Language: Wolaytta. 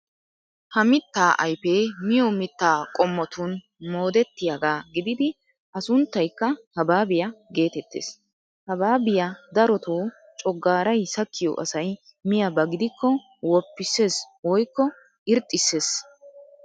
Ha mittaa ayfee miyo mittaa qommotun moodettiyagaa gididi a sunttaykka habaabiya geetettees. Habaabiya daretoo coggaaray sakkiyo asay miyaba gidikko woppissees woykko irxxissees.